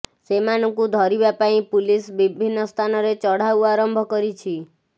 ସେମାନଙ୍କୁ ଧରିବା ପାଇଁ ପୁଲିସ ବିଭିନ୍ନ ସ୍ଥାନରେ ଚଢ଼ାଉ ଆରମ୍ଭ କରିଛି